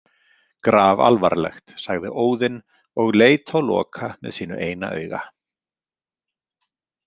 Grafalvarlegt, sagði Óðinn og leit á Loka með sínu eina auga.